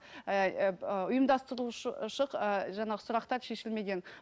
ы жаңағы сұрақтар шешілмеген